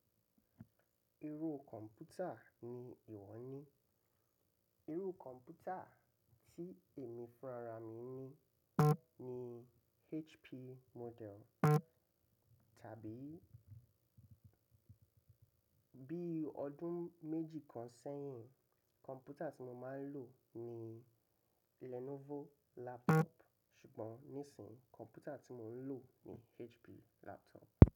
Irú kọ̀mpútà ni ìwọ ní? Irú kọ̀mpútà tí èmi fúnrara mí ní, ni HP model. Tàbí bí ọdún méjì kan sẹ́yìn, kọ̀mpútà tí mo máa ń lò ní Lenovo laptop. Ṣùgbọ́n nísìnyí, kọ̀mpútà tí mò ń lò ní HP laptop.